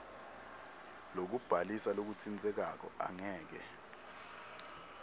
lokubhalisa lokutsintsekako angeke